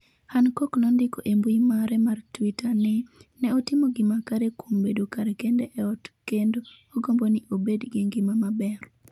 Hancock nondiko e mbui mare mar Twitter ni "ne otimo gima kare" kuom bedo kar kende e ot kendo "agombo ni obed gi ngima maber".